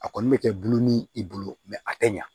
A kɔni bɛ kɛ bulon ni i bolo a tɛ ɲa